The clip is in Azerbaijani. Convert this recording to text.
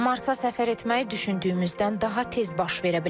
Marsa səfər etmək düşündüyümüzdən daha tez baş verə bilər.